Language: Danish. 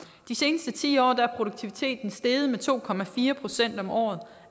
de seneste ti år er produktiviteten steget med to procent om året